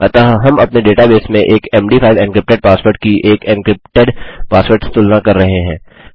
अतः हम अपने डेटाबेस में एक मद5 एन्क्रिप्टेड पासवर्ड की एक एन्क्रिप्टेड पासवर्ड से तुलना कर रहे हैं